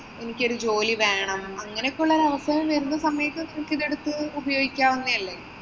എനിക്ക് ഒരു ജോലി വേണം അങ്ങനെയൊക്കെയുള്ള അവസ്ഥ വരുന്ന സമയത്ത് നിനക്ക് ഇത് എടുത്ത് ഉപയോഗിക്കവുന്നെ അല്ലേ.